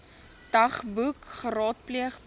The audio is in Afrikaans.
dagboek geraadpleeg behalwe